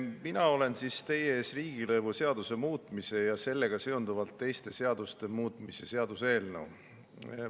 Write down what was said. Mina olen teie ees riigilõivuseaduse muutmise ja sellega seonduvalt teiste seaduste muutmise seaduse eelnõuga.